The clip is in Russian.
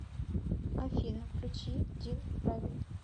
афина включи дин рабин